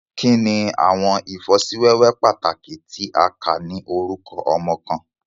Kini awọn ifosiwewe pataki ti a kà ni orukọ ọmọ kan?